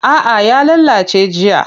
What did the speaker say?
A'a ya lalace jiya.